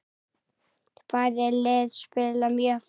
Bæði lið spila mjög fast.